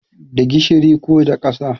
Da gishiri ko da ƙasa